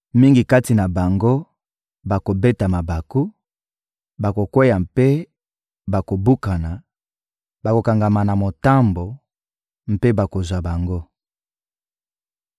Mingi kati na bango bakobeta mabaku, bakokweya mpe bakobukana, bakokangama na motambo, mpe bakozwa bango.»